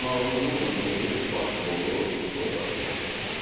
İcmalımızın bugünkü baş rolu Nikol Paşinyandır.